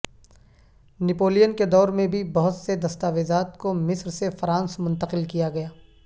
نپولین کے دور میں بھی بہت سے دستاویزات کو مصر سے فرانس منتقل کیا گیا